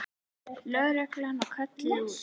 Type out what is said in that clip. Lögreglan var kölluð út.